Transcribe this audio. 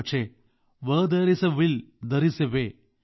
പക്ഷേ അവർ പറയുന്നതുപോലെ where there is a will there is a way